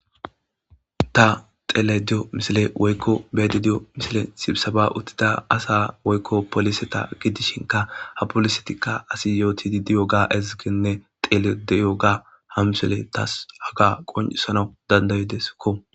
ta xele diyo misile woykko beedi diyo misile sibisaba uttida asa woykko poliseta gidishinka ha polisetikka asi yootidi diyo ga ezigenne telediyo ga hamsole tas haga qonesana dandayideskko